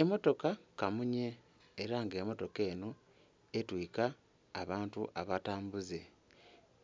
Emotoka kamunye era nga emotoka enho etwika abantu abatambuze